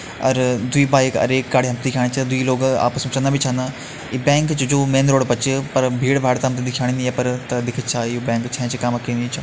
अर दु्ई बाइक अर एक गाड़ी हम दिखेणा छ दुई लोग आपस में चलना भी छन ये बैंक जू छ यू मैन रोड पर छ पर भीड़ भाड़ हम तैं दिखेणी नहीं ये पर तो देखदा छ कि ये बैंक छ चु काम का या नी च --